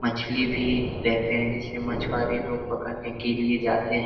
मछली भी रहते हैं जैसे मछवारे लोग पकड़ने के लिए जाते --